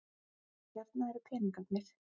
Hérna eru peningarnir.